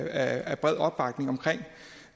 at